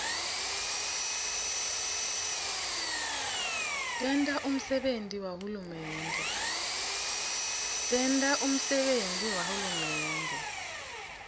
tenta umsebenti wahulumende